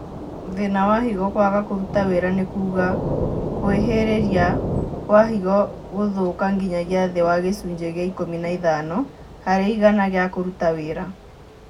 Thĩna wa higo kwaga kũruta wĩra nĩ kuga kwĩhĩrĩria kwa higo gũthũka nginyagia thĩ wa gĩcunjĩ gĩa ikũmi na ithano harĩ igana gĩa kũruta wĩra